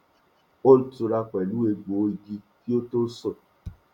ó ń túra pẹlú ẹgbò igi kí ó tó sùn